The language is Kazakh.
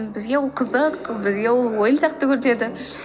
бізге ол қызық бізге ол ойын сияқты көрінеді